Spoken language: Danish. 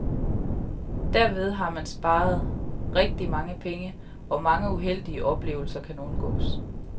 Derved har man sparet rigtig mange penge, og mange uheldige oplevelser kan undgås.